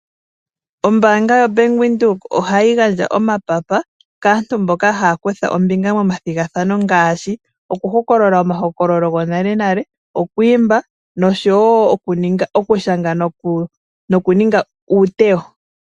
Ombaanga yoBank Windhoek ohayi gandja omapapa kaantu mboka haya kutha ombinga momathigathano ngaashi okuhokolola omahokololo gonale nale, oku imba noshowo okushanga nokuninga uutewo.